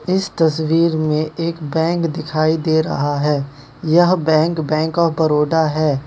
इस तस्वीर में एक बैंक दिखाई दे रहा है यह बैंक बैंक ऑफ़ बड़ोदा है।